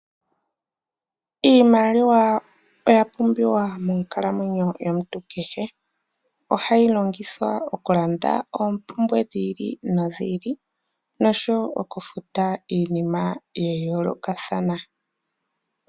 Iimaliwa oya pumbiwa monkalamwenyo yomuntu kehe. Ohayi longithwa okulanda oompumbwe dhi ili nodhi ili nosho wo okufuta iinima ya yoolokathana.